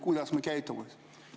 Kuidas me peaksime käituma?